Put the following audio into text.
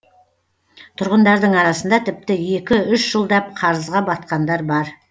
тұрғындардың арасында тіпті екі үш жылдап қарызға батқандар бар